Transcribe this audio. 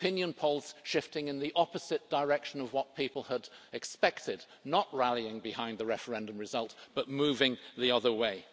opinion polls shifting in the opposite direction of what people had expected not rallying behind the referendum result but moving the other way.